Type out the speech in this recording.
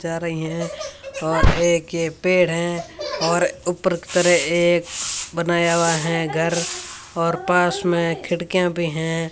जा रही है और एक के पेड़ है और ऊपर की तरह एक बनाया हुआ है घर और पास में खिड़कियां भी हैं।